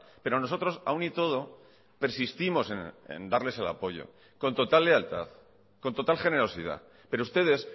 pero nosotros aún y todo persistimos en darles el apoyo con total lealtad con total generosidad pero ustedes